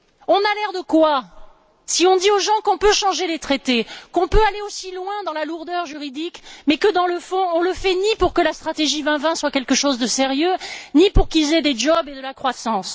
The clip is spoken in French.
On a l'air de quoi si on dit aux gens qu'on peut changer les traités, qu'on peut aller aussi loin dans la lourdeur juridique, mais que dans le fond on ne le fait ni pour que la stratégie 2020 soit quelque chose de sérieux, ni pour qu'ils aient des emplois et de la croissance.